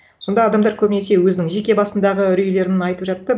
сонда адамдар көбінесе өзінің жеке басындағы үрейлерін айтып жатты